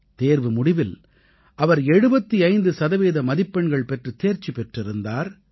தேர்வு முடிவில் அவர் 75 சதவீத மதிப்பெண்கள் பெற்றுத் தேர்ச்சி பெற்றிருந்தார்